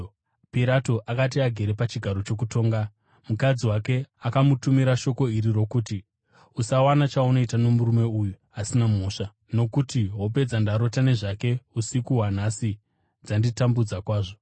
Pirato akati agere pachigaro chokutonga mukadzi wake akamutumira shoko iri rokuti: “Usawana chaunoita nomurume uyo asina mhosva, nokuti hope dzandarota nezvake usiku hwanhasi dzanditambudza kwazvo.”